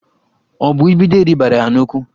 Ọ bụ idide ribara ya n'ụkwụ?